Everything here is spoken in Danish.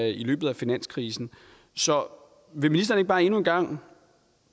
i løbet af finanskrisen så vil ministeren bare ikke endnu en gang